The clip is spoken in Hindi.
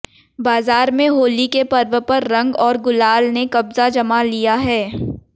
बाजार में होली के पर्व पर रंग और गुलाल ने कब्जा जमा लिया है